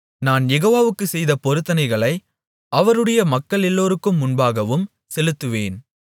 நான் யெகோவாவுக்குச் செய்த பொருத்தனைகளை அவருடைய மக்களெல்லோருக்கும் முன்பாகவும் செலுத்துவேன்